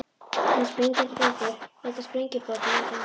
Þegar sprengjan springur þeytast sprengjubrotin út um allt.